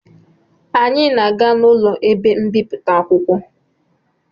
Anyị na-aga n'ụlọ ebe mbipụta akwụkwọ